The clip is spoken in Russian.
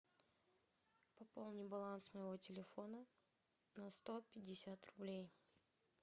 пополни баланс моего телефона на сто пятьдесят рублей